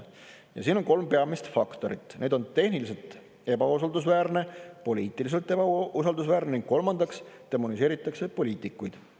Ja käiakse välja kolm peamist faktorit: tehniliselt ebausaldusväärne, poliitiliselt ebausaldusväärne ning kolmandaks demoniseeritakse poliitikuid.